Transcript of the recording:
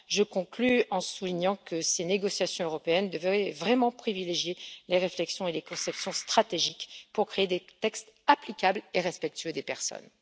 Je conclus en soulignant que ces négociations européennes devraient vraiment privilégier les réflexions et les conceptions stratégiques pour créer des textes applicables et respectueux des personnes.